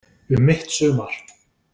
Um mitt sumar.